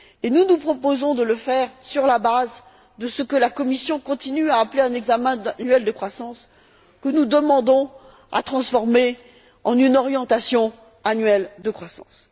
Nous nous proposons de le faire sur la base de ce que la Commission continue à appeler un examen annuel de croissance, que nous demandons à transformer en une orientation annuelle de croissance.